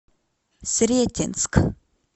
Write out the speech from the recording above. сретенск